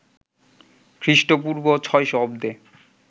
খ্রিস্টপূর্ব ৬০০ অব্দে